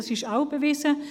Das ist auch bewiesen.